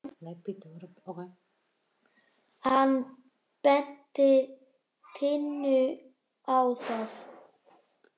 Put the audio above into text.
Hann benti Tinnu á það.